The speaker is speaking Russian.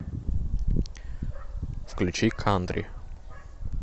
включи кантри